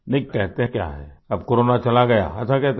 नहीं कहते क्या है अब कोरोना चला गया ऐसा कहते है